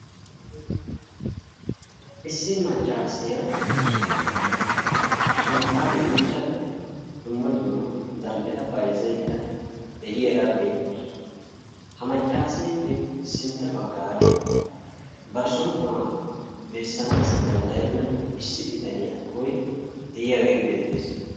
Issi maccaasiya shanxxan miccada dumm dumma zal'etta bayzzayda de'iyara beetawusu. Ha maccaasepe sintta baggaara bar som'uwaa beesanassi danddayenna issi biitaniya tohoy de'iyage beetes.